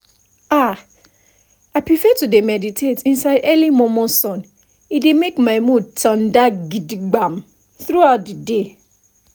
ah i prefer to dey meditate inside early momo sun e dey make my mood tanda gidigba throughout the day